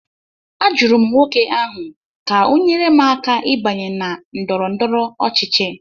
Ajụrụ m nwoke ahụ ka ọ nyere m aka ịbanye na ndọrọ ndọrọ ọchịchị